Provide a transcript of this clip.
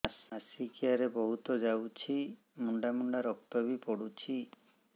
ମାସିକିଆ ରେ ବହୁତ ଯାଉଛି ମୁଣ୍ଡା ମୁଣ୍ଡା ରକ୍ତ ବି ପଡୁଛି